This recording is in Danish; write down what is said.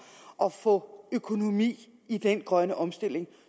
at få økonomi i den grønne omstilling